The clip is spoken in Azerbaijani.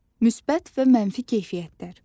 Müsbət və mənfi keyfiyyətlər.